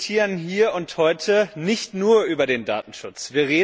Wir diskutieren hier und heute nicht nur über den Datenschutz.